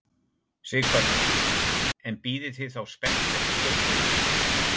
Sighvatur: En bíðið þið þá spennt eftir skaupinu?